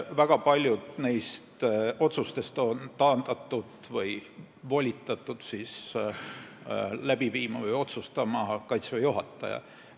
Väga paljusid neist otsustest on volitatud tegema Kaitseväe juhataja.